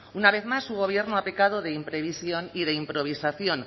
una vez más su gobierno ha pecado de imprevisión y de improvisación